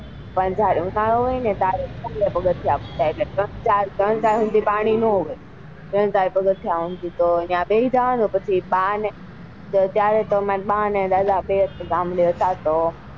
પણ જયારે ઉનાળો હોય ને ત્યારે પગથીયા ત્રણ ચાર પગથીયા સુધી તો ત્યાં બેસી જવા નું પછી બા ને દાદા ગામડે હતા તો.